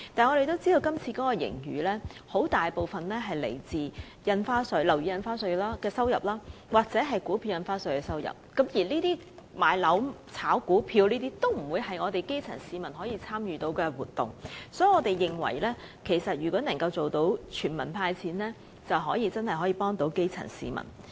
我們知道今次大部分盈餘均來自樓宇印花稅或股票印花稅的收入，但買樓和炒股票均非基層市民可以參與的活動，所以我們認為如果可以做到"全民派錢"，便可以真正幫助基層市民。